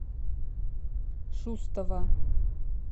шустова